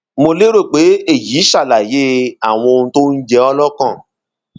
mo lérò pe eyi ṣalaye awọn ohun tó ń jẹ ọọ lọkàn